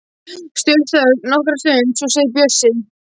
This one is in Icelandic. Stutt þögn nokkra stund en svo segir Bjössi: